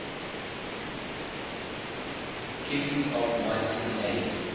kings of mycenae